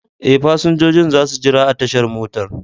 Ee, fasinjojin za su jira a tashar motar.